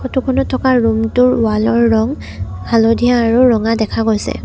Photo খনত থকা room টোৰ ৱাল ৰ ৰং হালধীয়া আৰু ৰঙা দেখা গৈছে।